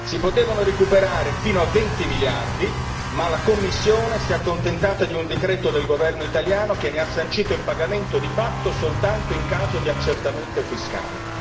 Si potevano recuperare fino a 20 miliardi, ma la Commissione si è accontentata di un decreto del governo italiano che ne ha sancito il pagamento di fatto soltanto in caso di accertamento fiscale.